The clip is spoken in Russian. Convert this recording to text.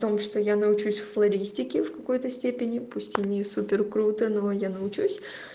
о том что я научусь флористики в какой-то степени пусть и не супер круто но я научусь